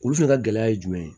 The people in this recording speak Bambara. Olu fɛnɛ ka gɛlɛya ye jumɛn ye